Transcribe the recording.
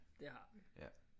Det har vi